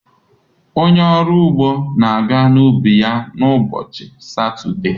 Onye ọrụ ugbo na-aga n'ubi ya na ụbọchị Satọde.